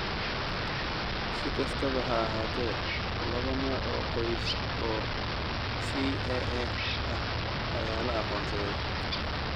Si kastaba ha ahaatee, laba nooc oo qoys oo CAA ah ayaa la aqoonsaday.